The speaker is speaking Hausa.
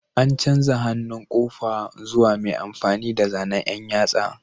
An canza hannun ƙofa zuwa mai amfani da zanen ɗan yatsa